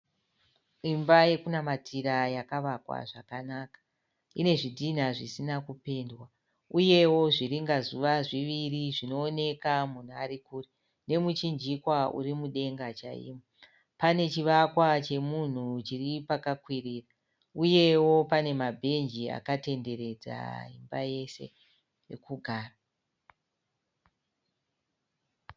Imba yokunamatira yakavakwa zvakanaka. Ine zvidhinha zvisina kupendwa uyewo zviringa zuva zviviri zvinooneka munhu ari kure nemuchinjikwa uri mudenga chaimo. Pane chevakwa chemunhu chiri pakakwirira uyewo pane mabhenji akatenderedza imaba yese ekugara.